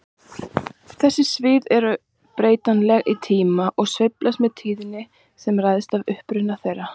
Þessi svið eru breytileg í tíma og sveiflast með tíðni sem ræðst af uppruna þeirra.